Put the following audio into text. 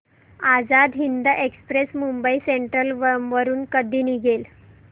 Azad Hind express Mumbai central वरून कधी निघेल